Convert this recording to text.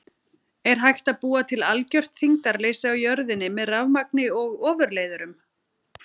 Er hægt að búa til algjört þyngdarleysi á jörðinni með rafmagni og ofurleiðurum?